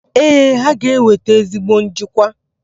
Ee, ha ga-eweta ezigbo njikwa.